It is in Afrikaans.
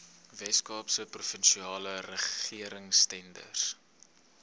weskaapse provinsiale regeringstenders